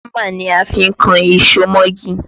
Hámà ni a fi ń kan ìṣó mọ́gi